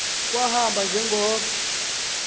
kwahamba nje ngoko